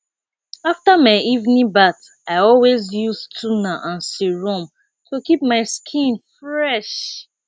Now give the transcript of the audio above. after my evening bath i always use toner and serum to keep my skin fresh